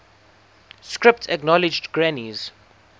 script acknowledged granny's